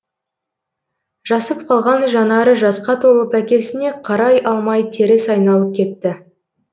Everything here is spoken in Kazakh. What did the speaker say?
жасып қалған жанары жасқа толып әкесіне қарай алмай теріс айналып кетті